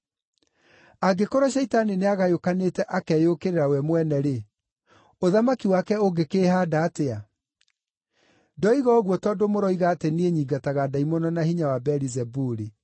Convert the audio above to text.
Angĩkorwo Shaitani nĩagayũkanĩte akeyũkĩrĩra we mwene-rĩ, ũthamaki wake ũngĩkĩĩhaanda atĩa? Ndoiga ũguo tondũ mũroiga atĩ niĩ nyingataga ndaimono na hinya wa Beelizebuli.